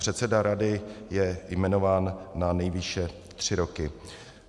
Předseda rady je jmenován na nejvýše tři roky.